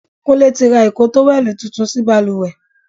Kúnlé tí ra ìko tówẹ́lì tuntun sí bàlùwẹ̀.